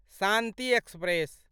Shanti express